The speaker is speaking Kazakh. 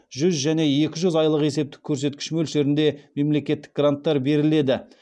жүз және екі жүз айлық есептік көрсеткіш мөлшерінде мемлекеттік гранттар беріледі